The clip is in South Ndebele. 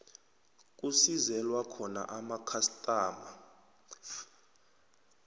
kusizelwa khona amakhastama